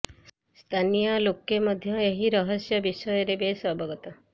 ସ୍ଥାନୀୟ ଲୋକ ମଧ୍ୟ ଏହି ରହସ୍ୟ ବିଷୟରେ ବେଶ ଅବଗତ